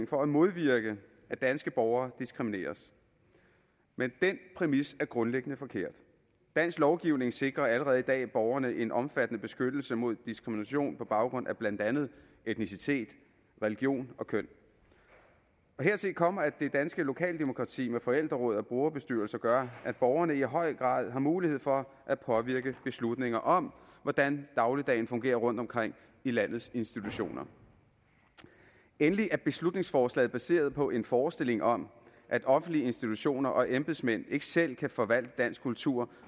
for at modvirke at danske borgere diskrimineres men den præmis er grundlæggende forkert dansk lovgivning sikrer allerede i dag borgerne en omfattende beskyttelse mod diskrimination på baggrund af blandt andet etnicitet religion og køn hertil kommer at det danske lokaldemokrati med forældreråd og brugerbestyrelser gør at borgerne i høj grad har mulighed for at påvirke beslutninger om hvordan dagligdagen fungerer rundtomkring i landets institutioner endelig er beslutningsforslaget baseret på en forestilling om at offentlige institutioner og embedsmænd ikke selv kan forvalte dansk kultur